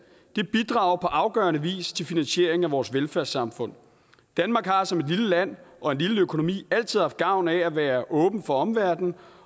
det bidrager på afgørende vis til finansieringen af vores velfærdssamfund danmark har som et lille land og en lille økonomi altid haft gavn af at være åben for omverdenen